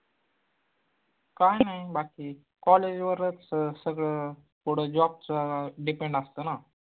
काय नाई बाकी college वरच सगळं पुढं job चा depend असत ना